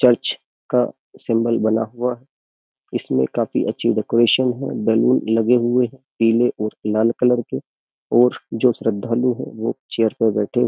Church का symbol बना हुआ है। इसमे काफ़ी अच्छी डेकोरेशन है बैलून लगे हुए है। पीले और लाल कलर के और जो श्रद्धालु है वो चेयर पे बैठे है।